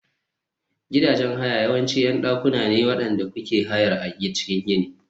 Gidajen haya yawanci ƴan dakuna ne waɗanda kuke hayar a cikin gini.